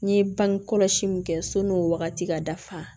N ye bangekɔlɔsi min kɛ sɔn n'o wagati ka dafa